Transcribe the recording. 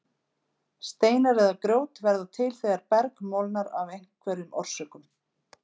Steinar eða grjót verða til þegar berg molnar af einhverjum orsökum.